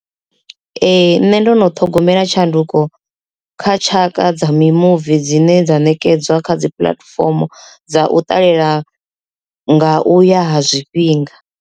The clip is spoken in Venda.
Ee, nṋe ndo no ṱhogomela tshanduko kha tshaka dza mimuvi dzine dza ṋekedza kha dzi puḽatifomo dza u ṱalela nga uya ha zwifhinga.